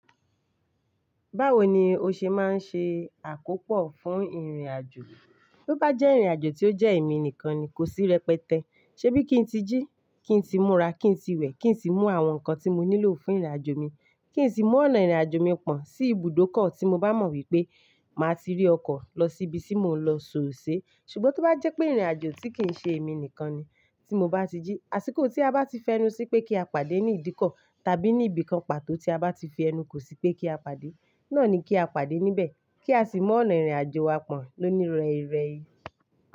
Báwoni o ṣe máa ń ṣe àkópọ̀ fún ìrìnàjò? To bá jẹ́ ìrìnàjò tí ó jẹ́ èmi nìkan ni kò sí rẹpẹtẹ. Ṣé bí kín ti jí, kín ti múra, kín ti wẹ̀, kín sì mú àwọn nǹkan tí mo nílò fún ìrìnàjò mi, kí n sì mú ọ̀nà ìrìnàjò mi pọ̀n sí ibùdókọ̀ tí mo bá mọ̀ wípé màá ti rí ọkọ̀ lọ sí ibi tí mò ń lọ sóòse. Ṣùgbọ́n tí ó bá jẹ́ pé ìrìnàjò tí kì í ṣe èmi nìkan ni, tí mo bá ti jí, àsìkò tí a bá ti fẹnu sí pé kí a pàdé ní ìdíkọ̀ tàbí ní ibìkan pàtó tí a bá ti fẹnu kò sí pé kí a pàdé, náà ni kí a pàdé níbẹ̀ kí a sì mú ọ̀nà ìrìnàjò wa pọ̀n, ló ni rẹ́rẹ́.